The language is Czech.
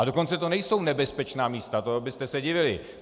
A dokonce to nejsou nebezpečná místa, to byste se divili!